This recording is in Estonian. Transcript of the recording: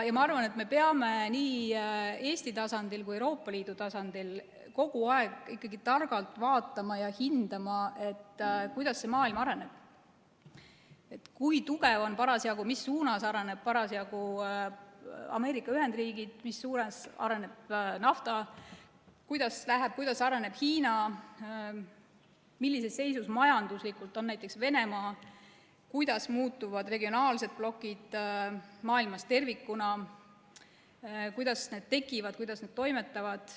Ma arvan, et me peame nii Eesti tasandil kui ka Euroopa Liidu tasandil kogu aeg ikkagi targalt vaatama ja hindama, kuidas see maailm areneb, st kui tugevad on ja mis suunas arenevad parasjagu Ameerika Ühendriigid, mis suunas areneb naftatööstus, kuidas areneb Hiina, millises seisus majanduslikult on näiteks Venemaa, kuidas muutuvad regionaalsed blokid maailmas tervikuna, kuidas need tekivad, kuidas need toimetavad.